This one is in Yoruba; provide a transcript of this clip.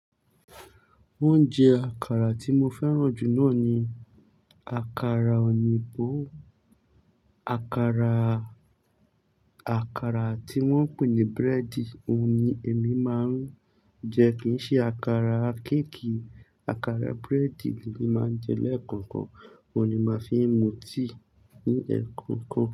Oúnjẹ àkàrà tí mo fẹ́ràn jù náà ni àkàrà òyìnbó. Àkàrà, àkàrà tí wọ́n ń pè ní búrẹ́dì, òun ni èmi máa ń jẹ, kì í ṣe àkàrà kéèkì. Àkàrà búrẹ́dì ni mo máa ń jẹ lẹ́ẹ̀kọ̀kan, òun ni màá fi ń mu tíì ní ẹ̀ẹ̀kọ̀kan.